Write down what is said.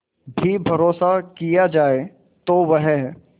भी भरोसा किया जाए तो वह